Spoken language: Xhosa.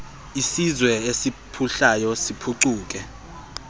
isizwe esiphuhlayo siphucule